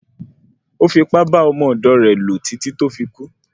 Ò fi ipá bá ọmọ ọ̀dọ̀ rẹ lò títí tó fi kún.